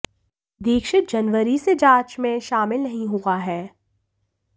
दीक्षित जनवरी से जांच में शामिल नहीं हुआ है